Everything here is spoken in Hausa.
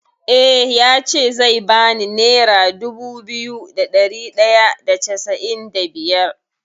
Eh ya ce zai bani nera dubu biyu da ɗari ɗaya da casa’in da biyar.